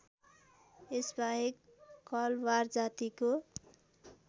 यसबाहेक कलवार जातिको